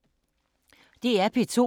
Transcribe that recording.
DR P2